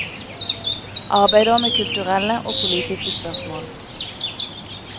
Arbeider med kulturelle og politiske spørsmål.